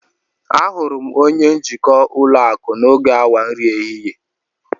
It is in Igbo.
Ahụrụ m onye njikwa ulo aku n'oge awa nri ehihie